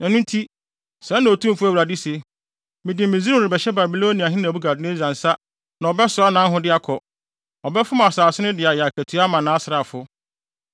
Ɛno nti, sɛɛ na Otumfo Awurade se: Mede Misraim rebɛhyɛ Babiloniahene Nebukadnessar nsa na ɔbɛsoa nʼahode akɔ. Ɔbɛfom asase no de ayɛ akatua ama nʼasraafo.